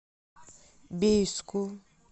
бийску